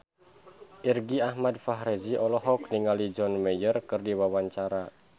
Irgi Ahmad Fahrezi olohok ningali John Mayer keur diwawancara